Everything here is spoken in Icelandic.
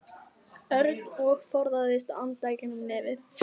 Örn og forðaðist að anda í gegnum nefið.